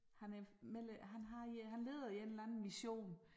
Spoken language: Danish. Han er medlem han har øh han leder en eller anden mission